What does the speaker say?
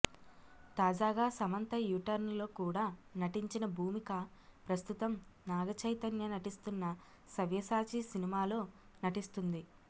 తాజాగా Samantha U turn లో కూడా నటించిన భూమిక ప్రస్తుతం నాగ చైతన్య నటిస్తున్న సవ్యసాచి సినిమాలో నటిస్తుంది